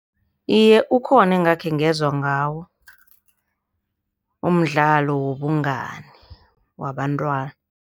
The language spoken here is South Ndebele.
Iye, ukhona ekhengezwa ngawo, umdlalo wobungani wabantwana.